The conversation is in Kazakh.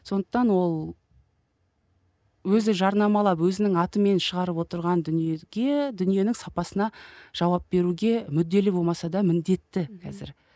сондықтан ол өзі жарнамалап өзінің атымен шығарып отырған дүниеге дүниенің сапасына жауап беруге мүдделі болмаса да міндетті қазір